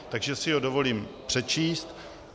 Takže si ho dovolím přečíst: